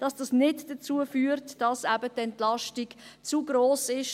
Dies sollte nicht dazu führt, dass eben die Entlastung zu gross ist.